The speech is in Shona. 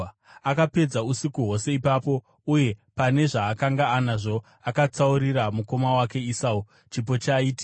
Akapedza usiku hwose ipapo, uye pane zvaakanga anazvo, akatsaurira mukoma wake Esau chipo chaiti: